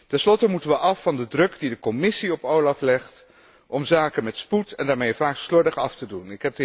Ten slotte moeten we af van de druk die de Commissie op OLAF legt om zaken met spoed, en daarmee vaak slordig, af te doen.